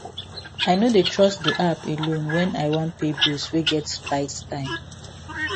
i no dey trust the app alone when i wan pay bills wey get tight time